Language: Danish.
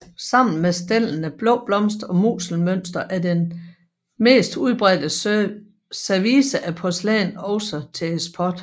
Sammen med stellene Blå Blomst og Musselmønster er det mest udbredte service af porcelæn også til eksport